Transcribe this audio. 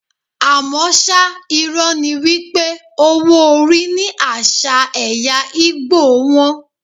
Àmọ́ ṣá, irọ́ ni wípé owó orí ní àṣà ẹ̀ya Ìgbò wón.